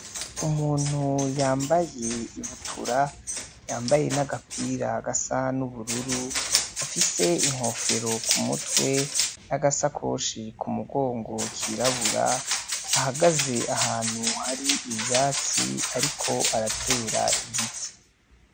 Umuntu yambaye ibutura yambaye n'agapira gasa n'ubururu afise inkofero ku mutwe n'agasakoshi ku mugongo kirabura ahagaze ahantu hari ivyatsi, ariko aratera igiti.